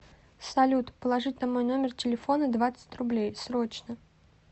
салют положить на мой номер телефона двадцать рублей срочно